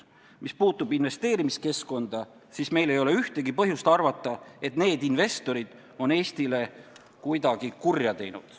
Mis puudutab investeerimiskeskkonda, siis pole meil ühtegi põhjust arvata, et need investorid oleksid Eestile kuidagi kurja teinud.